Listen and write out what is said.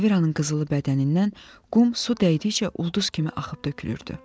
Elviranın qızılı bədənindən qum su dəydikcə ulduz kimi axıb tökülürdü.